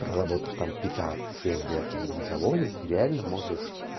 проработав там пятак семь лет на этом заводе ты реально можешь